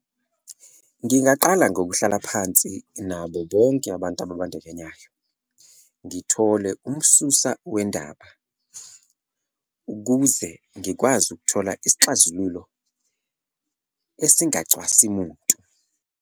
Ngingaqala ngokuhlala phansi nabo bonke abantu ababandakanyayo ngithole umsusa wendaba ukuze ngikwazi ukuthola isixazululo esingacwasi muntu.